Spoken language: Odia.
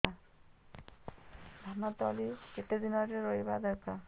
ଧାନ ତଳି କେତେ ଦିନରେ ରୋଈବା ଦରକାର